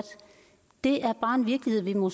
er bare en virkelighed vi må